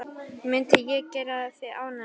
Mundi það gera þig ánægða?